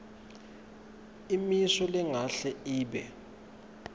imisho ingahle ibe